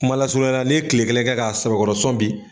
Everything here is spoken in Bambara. Kumalasurunya la n'i ye tile kelen kɛ k'a sɛbɛkɔrɔsɔn bi